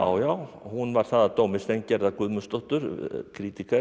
já hún var það að dómi Guðmundsdóttur